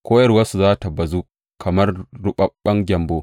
Koyarwarsu za tă bazu kamar ruɓaɓɓen gyambo.